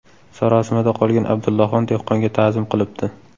Sarosimada qolgan Abdullaxon dehqonga ta’zim qilibdi.